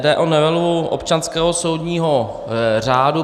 Jde o novelu občanského soudního řádu.